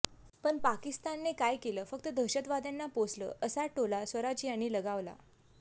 पण पाकिस्तानने काय केलं फक्त दहशतवाद्यांना पोसलं असा टोला स्वराज यांनी लगावला